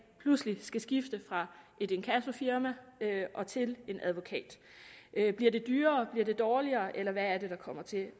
pludselig skal skifte fra et inkassofirma og til en advokat bliver det dyrere bliver det dårligere eller hvad er det der kommer til at